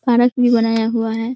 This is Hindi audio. पारक भी बनाया हुआ है।